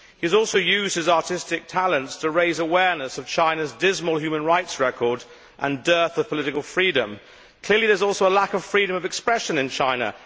He has also used his artistic talents to raise awareness of China's dismal human rights record and dearth of political freedom. Clearly, there is also a lack of freedom of expression in China.